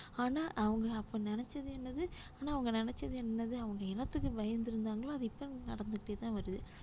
ஆனா அவங்க அப்போ நினைச்சது என்னது ஆனா அவங்க நினைச்சது என்னது அவங்க என்னத்துக்கு பயந்திருந்தாங்களோ அது இப்ப நடந்துட்டேதான் வருது